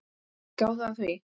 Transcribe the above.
Gáðu að því.